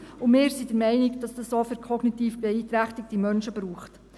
Und wir sind der Meinung, dass es dies auch für kognitiv beeinträchtigte Menschen braucht.